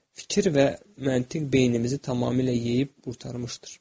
Fikir və məntiq beynimizi tamamilə yeyib qurtarmışdır.